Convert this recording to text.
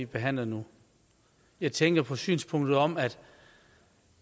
behandles nu jeg tænker på synspunktet om at